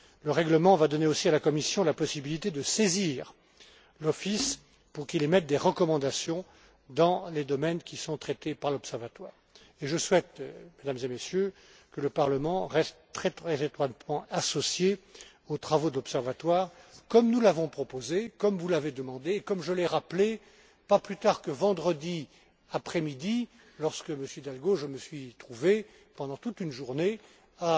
Le règlement va donner aussi à la Commission la possibilité de saisir l'Office pour qu'il émette des recommandations dans les domaines qui sont traités par l'Observatoire. Je souhaite, Mesdames et Messieurs, que le Parlement reste très étroitement associé aux travaux de l'Observatoire, comme nous l'avons proposé, comme vous l'avez demandé et comme je l'ai rappelé, pas plus tard que vendredi après midi lorsque, Monsieur Hidalgo, je me suis trouvé pendant toute une journée